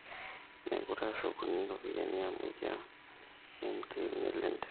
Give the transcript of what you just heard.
mekure eshukuni ropiyani amu iyie naimutie nelo enteke